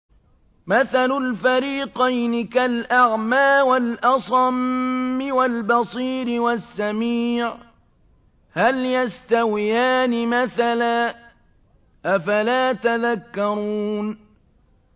۞ مَثَلُ الْفَرِيقَيْنِ كَالْأَعْمَىٰ وَالْأَصَمِّ وَالْبَصِيرِ وَالسَّمِيعِ ۚ هَلْ يَسْتَوِيَانِ مَثَلًا ۚ أَفَلَا تَذَكَّرُونَ